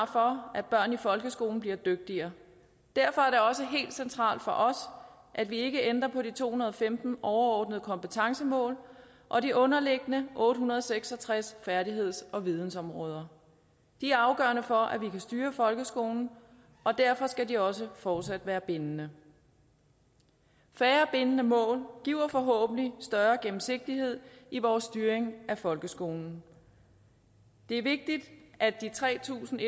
for at børn i folkeskolen bliver dygtigere derfor er det også helt centralt for os at vi ikke ændrer på de to hundrede og femten overordnede kompetencemål og de underliggende otte hundrede og seks og tres færdigheds og vidensområder de er afgørende for at vi kan styre folkeskolen og derfor skal de også fortsat være bindende færre bindende mål giver forhåbentlig større gennemsigtighed i vores styring af folkeskolen det er vigtigt at de tre tusind